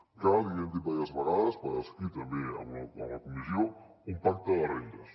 cal l’hi hem dit diverses vegades per escrit també a la comissió un pacte de rendes